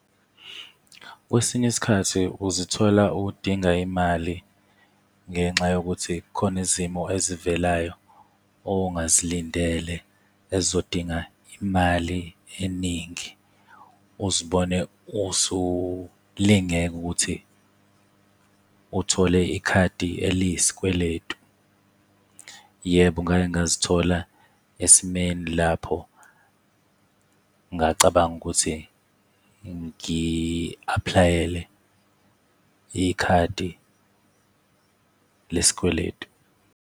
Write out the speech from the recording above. Kwesinye isikhathi, uzithola udinga imali ngenxa yokuthi khona izimo ezivelayo ongazilindele ezizodinga imali eningi. Uzibone usulingeka ukuthi uthole ikhadi eliyisikweletu. Yebo, ngake ngazithola esimeni lapho ngacabanga ukuthi ngi-aplayele ikhadi lesikweletu.